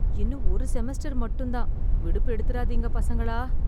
இன்னும் ஒரு செமஸ்டர் மட்டும் தான்.. விடுப்பு எடுத்துறாதீங்க பசங்களா.